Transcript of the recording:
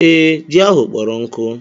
Ee, ji ahụ kpọrọ nkụ.